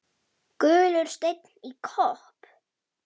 Gulur steinn í kopp.